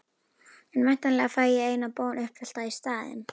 En væntanlega fæ ég eina bón uppfyllta í staðinn?